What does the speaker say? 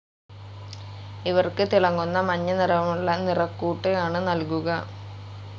ഇവർക്ക് തിളങ്ങുന്ന, മഞ്ഞനിറമുള്ള നിറക്കൂട്ട് ആണു നൽകുക.